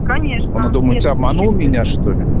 конечно она думает ты обманул меня что ли